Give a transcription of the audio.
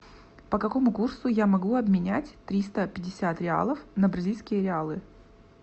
по какому курсу я могу обменять триста пятьдесят реалов на бразильские реалы